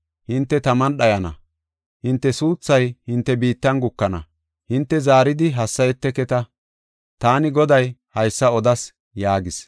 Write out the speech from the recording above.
Hinte taman dhayana; hinte suuthay hinte biittan gukana; hinte zaaridi hassayeteketa. Taani Goday haysa odas” yaagis.